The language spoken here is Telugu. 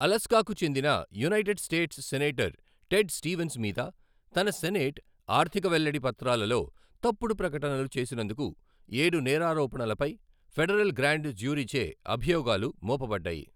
అలాస్కాకు చెందిన united states senator Ted Stevens మీద తన సెనేట్ ఆర్థిక వెల్లడి పత్రాలలో తప్పుడు ప్రకటనలు చేసినందుకు ఏడు నేరారోపణలపై ఫెడరల్ గ్రాండ్ జ్యూరీచే అభియోగాలు మోపబడ్డాయి.